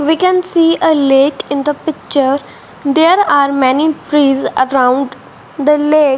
we can see a lake in the picture there are many trees around the lake.